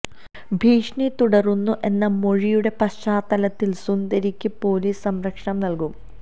ഭീഷണി തുടരുന്നു എന്ന മൊഴിയുടെ പശ്ചാത്തലത്തില് സുന്ദരയ്ക്ക് പൊലീസ് സംരക്ഷണം നല്കും